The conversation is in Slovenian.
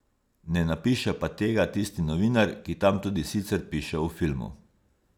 Ne napiše pa tega tisti novinar, ki tam tudi sicer piše o filmu.